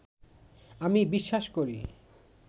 আমি বিশ্বাস করি